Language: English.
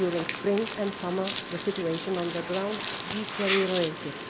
During spring and summer, the situation on the ground deteriorated.